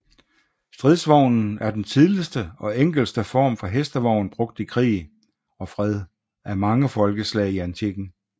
Stridsvognen er den tidligste og enkleste form for hestevogn brugt i krig og fred af mange folkeslag i antikken